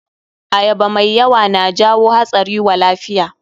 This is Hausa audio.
Ayaba mai yawa na jawo hatsari wa lafiya.